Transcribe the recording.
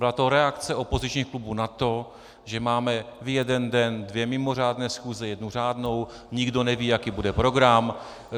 Byla to reakce opozičních klubů na to, že máme v jeden den dvě mimořádné schůze, jednu řádnou, nikdo neví, jaký bude program.